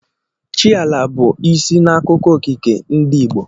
Chi ala, bụ isi n'akụkọ okike ndị Igbo.